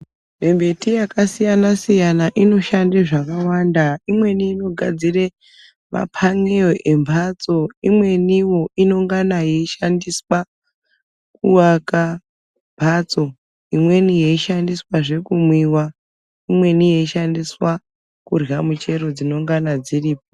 Mimbiti yakasiyana-siyana inoshande zvakawanda. Imweni inogadzire mapanewo embatso, imweniwo inongana yeishandiswa kuaka mbatso. Imweni yeishandiswazve kumwiwa, imweni yeishandiswa kurya michero dzinengana dziripo.